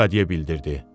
Lekadiye bildirdi.